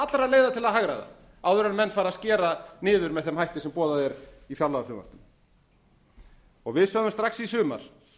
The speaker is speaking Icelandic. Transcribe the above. allra leiða til að hagræða áður en menn fara að skera niður með þeim hætti sem boðað er í fjárlagafrumvarpinu við sögðum strax í sumar